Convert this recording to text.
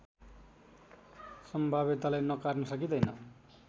सम्भाव्यतालाई नकार्न सकिँदैन